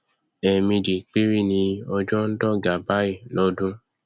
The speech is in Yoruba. ẹẹmejì péré ni ọjọ ndọga báyìí lọdún